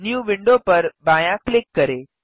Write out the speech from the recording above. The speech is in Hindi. न्यू विंडो पर बायाँ क्लिक करें